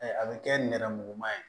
A bɛ kɛ nɛrɛmuguma ye